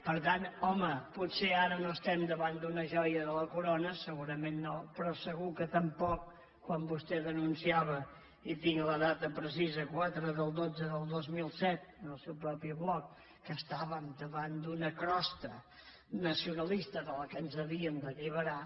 per tant home potser ara no estem davant d’una joia de la corona segurament no però segur que tampoc quan vostè denunciava i en tinc la data precisa quatre del xii del dos mil set en el seu propi bloc que estàvem davant d’una crosta nacionalista de la qual ens havíem d’alliberar